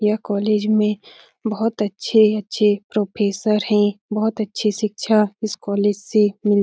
यह कॉलेज में बहुत अच्छे अच्छे प्रोफेसर हैं | बहुत अच्छी शिक्षा इस कॉलेज से मिल --